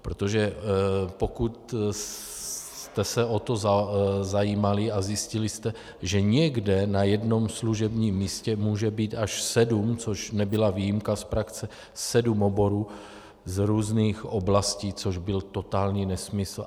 Protože pokud jste se o to zajímali a zjistili jste, že někde na jednom služebním místě může být až sedm - což nebyla výjimka z praxe - sedm oborů z různých oblastí, což byl totální nesmysl.